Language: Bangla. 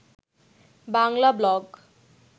বাংলা ব্লগ